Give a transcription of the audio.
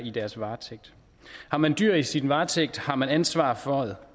i deres varetægt har man dyr i sin varetægt har man ansvaret for